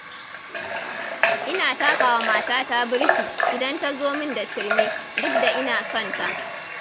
Ina takawa matata birki, idan tazo min da shirme, duk da ina sonta.